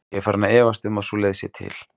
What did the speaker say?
Ég er farinn að efast um að sú leið sé til.